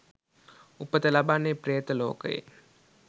උපත ලබන්නේ ප්‍රේත ලෝකයේ.